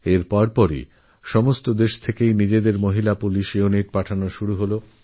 এরপরথেকে সব দেশ নিজেদের মহিলা পুলিশ ইউনিট পাঠাতে শুরু করল